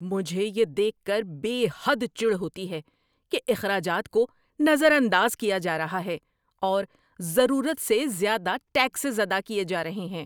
مجھے یہ دیکھ کر بے حد چڑ ہوتی ہے کہ اخراجات کو نظر انداز کیا جا رہا ہے، اور ضرورت سے زیادہ ٹیکسز ادا کیے جا رہے ہیں۔